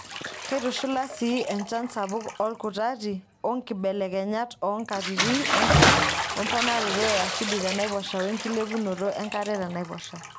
Keitushulaa sii enchan sapuk olkutati onkibelekenyat oonkatitin enchan o emponaroto e asidi tenaiposha wenkilepunoto enkare tenaiposha.